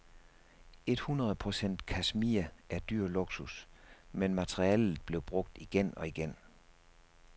Et hundrede procent kashmir er dyr luksus, men materialet blev brugt igen og igen.